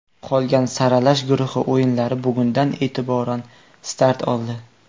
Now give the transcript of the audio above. Qolgan saralash guruhi o‘yinlari bugundan e’tiboran start oldi.